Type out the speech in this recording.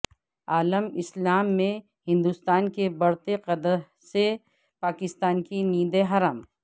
عالم اسلام میں ہندوستان کے بڑھتے قد سے پاکستان کی نیندیں حرام